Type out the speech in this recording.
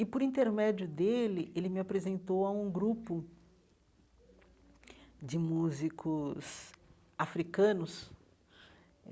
E, por intermédio dele, ele me apresentou a um grupo de músicos africanos.